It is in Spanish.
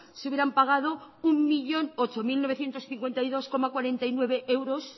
se hubieran pagado un millón ocho mil novecientos cincuenta y dos coma cuarenta y nueve euros